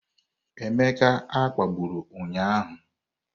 Emeka a kpagburu ụnyahụ?